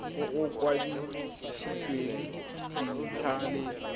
o o kwadisitsweng dintlha le